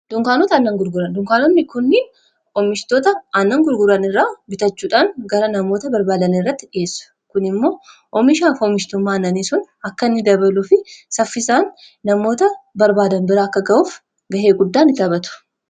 dunkaanota aannan gurguran dunkaanotni kunnin oomishtoota annan gurguranirraa bitachuudhaan gara namoota barbaadan irratti dhiheessu kun immoo oomishaaf oomishtummaa ananii sun akka inni dabaluu fi saffisaan namoota barbaadan bira akka ga'uuf ga'ee guddaan ni taphatu